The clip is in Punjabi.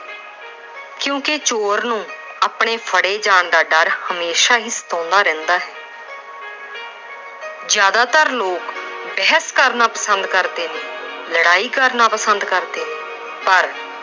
ਕਿਉਂਕਿ ਚੋਰ ਨੂੰ ਆਪਣੇ ਫੜੇ ਜਾਣ ਦਾ ਡਰ ਹਮੇਸ਼ਾ ਹੀ ਸਤਾਉਂਦਾ ਰਹਿੰਦਾ ਹੈ। ਜਿਆਦਾਤਰ ਲੋਕ ਬਹਿਸ ਕਰਨਾ ਪਸੰਦ ਕਰਦੇ ਨੇ, ਲੜਾਈ ਕਰਨਾ ਪਸੰਦ ਕਰਦੇ ਨੇ ਪਰ